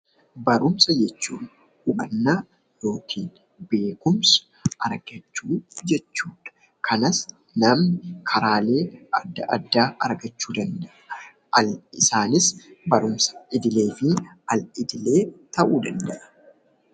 Barumsa jechuun hubannaa yookiin beekumsa argachuu jechuudha. Kanas namni karaalee adda addaa argachuu danda'a. Isaanis barumsa idilee fi al idilee ta'uu danda'a.